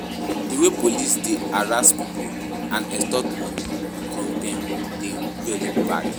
Di way police dey harass people and extort money from dem dey very bad.